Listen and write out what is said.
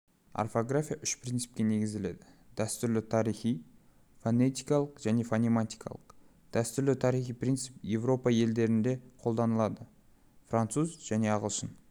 орфография үш принципке негізделеді дәстүрлі-тарихи фонетикалық және фонематикалық дәстүрлі-тарихи принцип еуропа тілдерінде қолданылады француз және ағылшын